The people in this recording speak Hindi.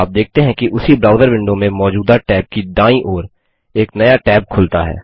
आप देखते हैं कि उसी ब्राउज़र विंडो में मौजूदा टैब की दायीं ओर एक नया टैब खुलता है